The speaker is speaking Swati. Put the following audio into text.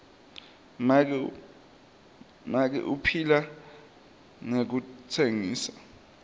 make uphila ngekutsengisa